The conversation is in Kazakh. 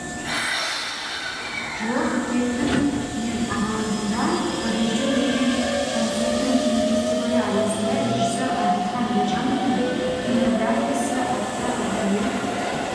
жылы қыркүйектің мен аралығында парижде өткен француздың кинофестивалі аясында режиссер әділхан ержановтың фильмографиясы атты арнайы